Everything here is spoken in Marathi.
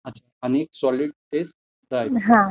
अच्छा आणि सॉलिड फेज ड्राइव्ह?